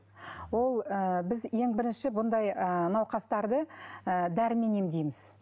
ол ы біз ең бірінші бұндай ыыы науқастарды ы дәрімен емдейміз